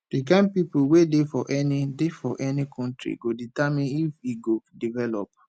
di kind pipo wey dey for any dey for any country go determine if e go develop